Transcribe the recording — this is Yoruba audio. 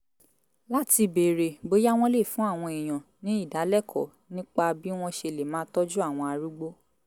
láti béèrè bóyá wọ́n lè fún àwọn èèyàn ní ìdálẹ́kọ̀ọ́ nípa bí wọ́n ṣe lè máa tọ́jú àwọn arúgbó